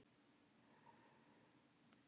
Ég endurtek spurningu mína lágt.